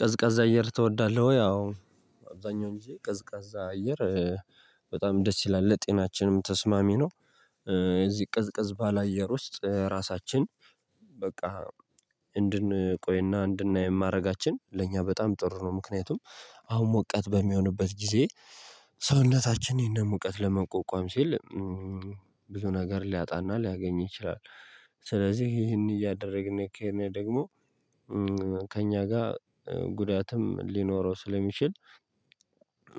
ቀዝቃዛ አየር ትወዳለህ ወይ? አዎ። አብዛኛው እንጂ ቀዝቃዛ አየር በጣም ደስ ይላል ለጤናችንም ተስማሚ ነው። እዚህ ቅዝቅዝ ባለአየር ውስጥ ራሳችን በቃ እንድንቆይና እንድናይ የማድረጋችን ለእኛ በጣም ጥሩ ነው። ምክንያቱም አሁን ሙቀት በሚሆንበት ጊዜ ሰውነታችን ይሄንን ሙቀት ለመቋቋም ሲል ብዙ ነገር ሊያጣና ሊያገኝ ይችላል። ስለዚህ ይሄን እያደረግን ከእኔ ደግሞ ከእኛ ጋር ጉዳትም ሊኖረው ስለሚችል